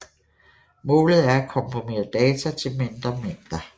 Målet er at komprimere data til mindre mængder